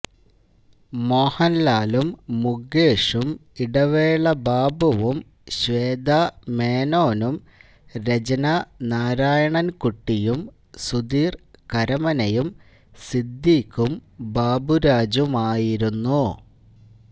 മോഹൻലാലും മുകേഷും ഇടവേള ബാബുവും ശ്വേതാ മേനോനും രചനാ നാരായണൻ കുട്ടിയും സുധീർ കരമനയും സിദ്ദിഖും ബാബുരാജുമായിരുന്നു